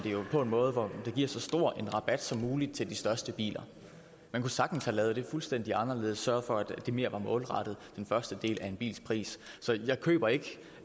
på en måde hvor det giver så stor en rabat som muligt til de største biler man kunne sagtens have lavet det fuldstændig anderledes sørget for at det var mere målrettet den første del af en bils pris så jeg køber ikke